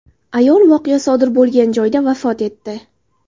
Ayol voqea sodir bo‘lgan joyda vafot etdi.